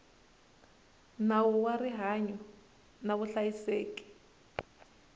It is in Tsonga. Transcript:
nawu wa rihanyo na vuhlayiseki